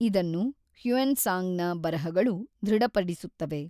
ಇದನ್ನು ಹ್ಯೂಯೆನ್ ತ್ಸಾಂಗ್‌ನ ಬರಹಗಳು ದೃಢಪಡಿಸುತ್ತವೆ.